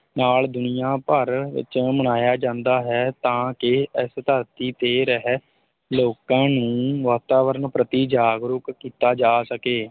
ਨਾਲ ਦੁਨੀਆ ਭਰ ਵਿੱਚ ਮਨਾਇਆ ਜਾਂਦਾ ਹੈ ਤਾਂ ਕਿ ਇਸ ਧਰਤੀ ਤੇ ਰਹਿ ਲੋਕਾਂ ਨੂੰ ਵਾਤਾਵਰਣ ਪ੍ਰਤੀ ਜਾਗਰੂਕ ਕੀਤਾ ਜਾ ਸਕੇ।